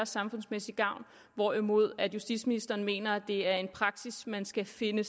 samfundsmæssig gavn hvorimod justitsministeren mener at det er en praksis man skal finde